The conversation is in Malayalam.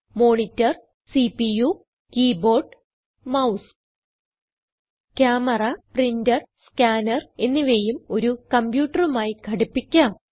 monitor CPU keyboard mouse camera printer scanner എന്നിവയും ഒരു കംപ്യൂട്ടറുമായി ഘടിപ്പിക്കാം